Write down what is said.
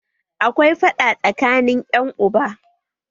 Akwai faɗa tsakanin ƴan uba